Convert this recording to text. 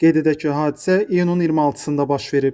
Qeyd edək ki, hadisə iyunun 26-da baş verib.